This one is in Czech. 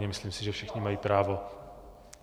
Myslím si, že všichni mají právo...